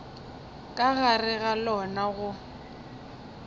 ka gare ga lona go